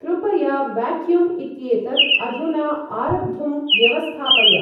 कृपया वैक्यूम् इत्येतत् अधुना आरब्धुं व्यवस्थापय।